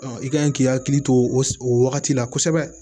i kan k'i hakili to o wagati la kosɛbɛ